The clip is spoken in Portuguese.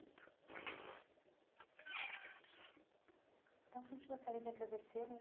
então, a gente gostaria de agradecê-la.